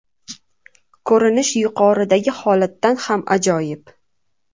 Ko‘rinish yuqoridagi holatdan ham ajoyib.